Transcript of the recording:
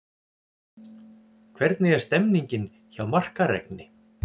Hvernig er stemningin hjá Markaregni?